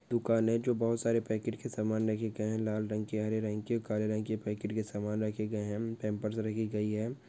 दुकान हे जो बोहित सारे पेकेट के सामान रेखा गयेहे लाल रंग के हारे रंग के ओ काले रंग के पेकेट के सामान राखे गये हे पैंपर्स राखी गयी हे